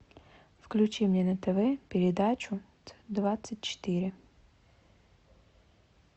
включи мне на тв передачу двадцать четыре